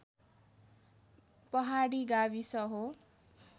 पहाडी गाविस हो